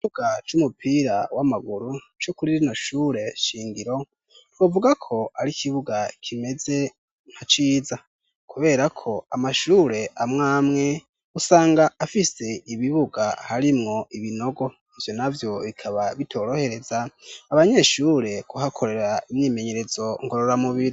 Ikibuga c'umupira w'amaguru co kuri rino shure shingiro twovuga ko ari ikibuga kimeze nka ciza, kubera ko amashure amwamwe usanga afise ibibuga harimwo ibinogo ivyo navyo bikaba bitorohereza abanyeshure kuhakorera imyimenyerezo ngorora mubiri.